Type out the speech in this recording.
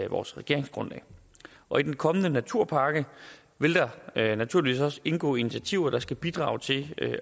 vores regeringsgrundlag og i den kommende naturpakke vil der naturligvis også indgå initiativer der skal bidrage til